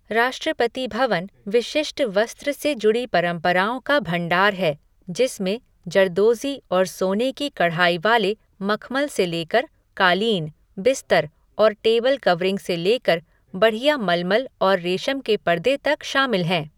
राष्ट्रपति भवन विशिष्ट वस्त्र से जुड़ी परंपराओं का भंडार है, जिसमें जरदोज़ी और सोने की कढ़ाई वाले मखमल से लेकर कालीन, बिस्तर और टेबल कवरिंग से लेकर बढ़िया मलमल और रेशम के पर्दे तक शामिल हैं।